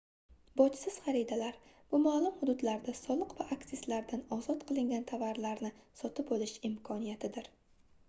bojsiz xaridalar bu maʼlum hududlarda soliq va aksizlardan ozod qilingan tovarlarni sotib olish imkoniyatidir